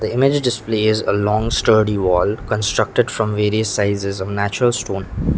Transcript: image displays a long sturdy wall constructed from various sizes of natural stone.